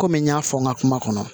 Kɔmi n y'a fɔ n ka kuma kɔnɔ